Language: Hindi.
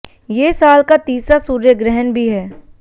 ये साल का तीसरा सूर्य ग्रहण भी है